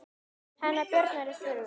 Hennar börn eru þrjú.